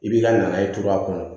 I b'i ka naye turu a kɔnɔ